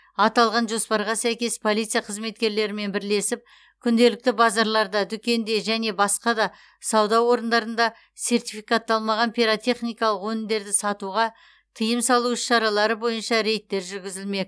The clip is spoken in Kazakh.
аталған жоспарға сәйкес полиция қызметкерлерімен бірлесіп күнделікті базарларда дүкенде және басқа да сауда орындарында сертификатталмаған пиротехникалық өнімдерді сатуға тыйым салу іс шаралары бойынша рейдтер жүргізілмек